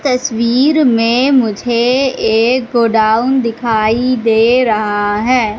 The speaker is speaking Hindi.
तस्वीर में मुझे एक गोडाउन दिखाई दे रहा है।